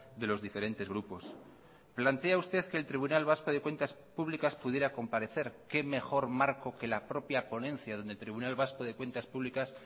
de los diferentes grupos plantea usted que el tribunal vasco de cuentas públicas pudiera comparecer qué mejor marco que la propia ponencia donde el tribunal vasco de cuentas públicas